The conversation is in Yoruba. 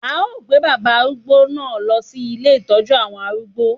A ó gbé bàbá arúgbó náà lọ sí ilé Ìtọ́jú àwọn arúgbó.